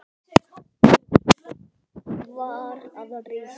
Landið var að rísa.